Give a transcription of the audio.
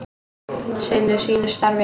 Sinnir sínu starfi.